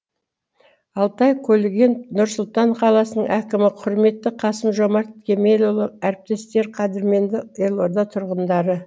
алтай көлгінов нұр сұлтан қаласының әкімі құрметті қасым жомарт кемелұлы әріптестер қадірменді елорда тұрғындары